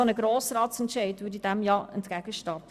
Ein solcher Grossratsentscheid würde dem entgegenstehen.